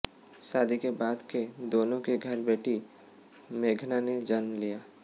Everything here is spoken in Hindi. शादी के बाद के दोनों के घर बेटी मेघना ने जन्म लिया